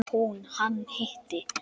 Hún: Hann hitti.